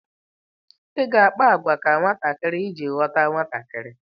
Ị ga akpa àgwà ka nwatakịrị iji ghọta nwatakịrị.